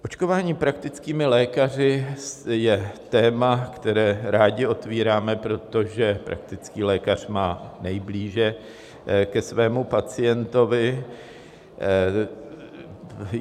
Očkování praktickými lékaři je téma, které rádi otvíráme, protože praktický lékař má nejblíže ke svému pacientovi.